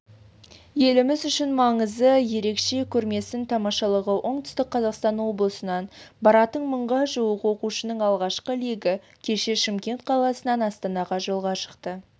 еліміз үшін маңызы ерек көрмесін тамашалауға оңтүстік қазақстан облысынан баратын мыңға жуық оқушының алғашқы легі кеше шымкент қаласынан астанаға жолға шықты